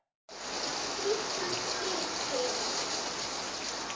Þýsku skipin.